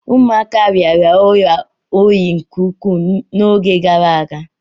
Ụmụaka rịara ọrịa oyi nke ukwuu n'oge gara aga.